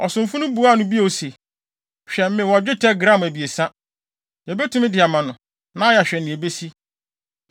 Ɔsomfo no buaa no bio se, “Hwɛ! Mewɔ dwetɛ gram abiɛsa. Yebetumi de ama no, na yɛahwɛ nea ebesi.”